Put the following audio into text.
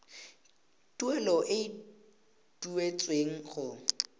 tuelo e e duetsweng go